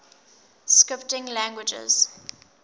scripting languages